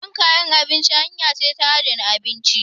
Shan kayan abinci hanya ce ta adana abinci.